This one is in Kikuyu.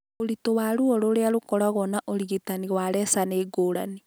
Ũritũ wa ruo rũrĩa rũkoragwo na ũrigitani wa laser nĩ ngũrani.